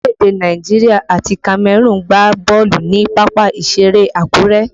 Orílẹ̀ èdè Nàìjíríà àti Cameroon gbá bọ́ọ̀lù ni pápá ìṣeré Akure